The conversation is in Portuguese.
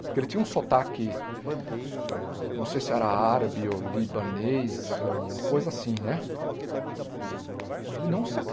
Porque ele tinha um sotaque, não sei se era árabe ou libanês, uma coisa assim, né? E ele não se